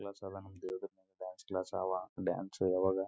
ಮೈನಾ ಕರಗಿಸಬೇಕು ಅಂತ ಹೇಳಿ ಯೋಗ ಮಾಡಲು ಅದನ್ನ ಅಭ್ಯಾಸ ಮಾಡ್ತಾ ಇದ್ದೀವಿಗ.